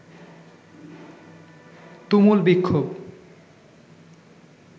তুমুল বিক্ষোভ